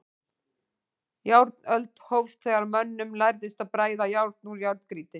Járnöld hófst þegar mönnum lærðist að bræða járn úr járngrýti.